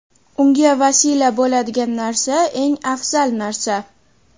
unga vasila bo‘ladigan narsa eng afzal narsa.